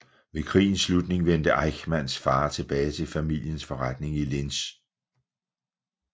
Ved krigens slutning vendte Eichmanns far tilbage til familiens forretning i Linz